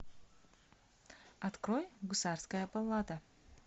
открой гусарская баллада